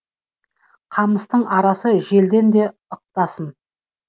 қамыстың арасы желден де ықтасын